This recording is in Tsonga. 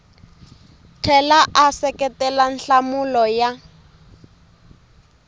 tlhela a seketela nhlamulo ya